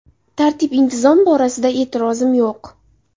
Tartib-intizom borasida e’tirozim yo‘q.